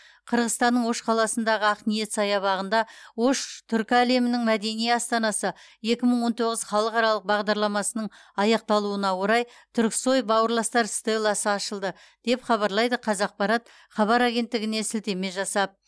қырғызстанның ош қаласындағы ақниет саябағында ош түркі әлемінің мәдени астанасы екі мың он тоғыз халықаралық бағдарламасының аяқталуына орай түрксой бауырластар стелласы ашылды деп хабарлайды қазақпарат хабар агенттігіне сілтеме жасап